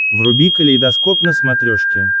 вруби калейдоскоп на смотрешке